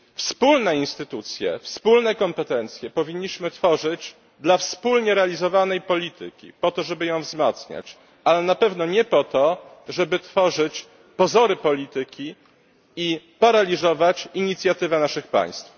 Wspólne instytucje, wspólne kompetencje powinniśmy tworzyć dla wspólnie realizowanej polityki, po to żeby ją wzmacniać, ale na pewno nie po to, żeby tworzyć pozory polityki i paraliżować inicjatywę naszych państw.